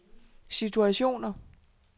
situationer